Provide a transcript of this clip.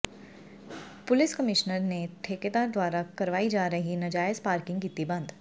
ਪੁਲਸ commissioner ਨੇ ਠੇਕੇਦਾਰ ਦੁਆਰਾ ਕਰਵਾਈ ਜਾ ਰਹੀ ਨਾਜਾਇਜ਼ ਪਾਰਕਿੰਗ ਕੀਤੀ ਬੰਦ